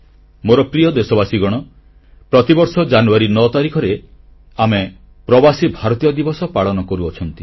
ମୋର ପ୍ରିୟ ଦେଶବାସୀଗଣ ପ୍ରତିବର୍ଷ ଜାନୁଆରୀ 9 ତାରିଖରେ ଆମେ ପ୍ରବାସୀ ଭାରତୀୟ ଦିବସ ପାଳନ କରୁଛୁ